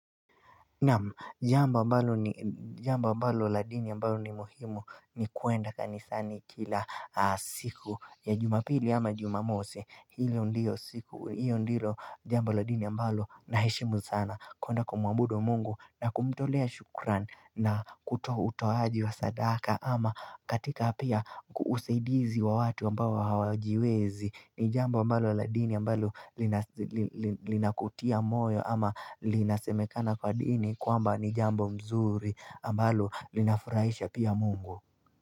Naam, jambo ambalo la dini ambalo ni muhimu ni kwenda kanisani kila siku ya jumapili ama jumamosi hiyo ndiyo siku, hiyo ndilo jambo la dini ambalo naheshimu sana, kwenda kumwabudu Mungu na kumtolea shukrani. Na kutoa utoaji wa sadaka ama katika pia usaidizi wa watu ambao hawajiwezi. Ni jambo ambalo la dini ambalo linakutia moyo ama linasemekana kwa dini kwamba ni jambo zuri ambalo linafuraisha pia Mungu.